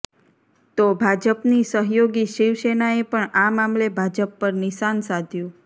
તો ભાજપની સહયોગી શિવસેનાએ પણ આ મામલે ભાજપ પર નિશાન સાધ્યું